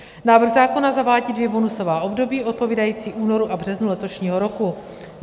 Návrh zákona zavádí dvě bonusová období odpovídající únoru a březnu letošního roku.